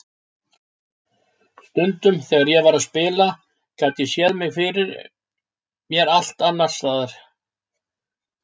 Stundum þegar ég var að spila gat ég séð mig fyrir mér allt annars staðar.